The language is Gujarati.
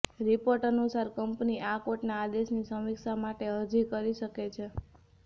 રિપોર્ટ અનુસાર કંપની આ કોર્ટના આદેશની સમીક્ષા માટે અરજી કરી શકે છે